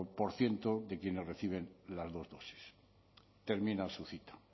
por ciento de quienes reciben las dos dosis termina su cita